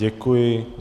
Děkuji.